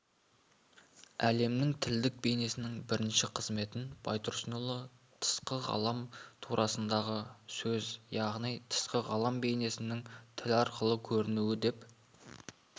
әлемнің тілдік бейнесінің бірінші қызметін байтұрсынұлы тысқы ғалам турасындағы сөз яғни тысқы ғалам бейнесінің тіл арқылы көрінуі деп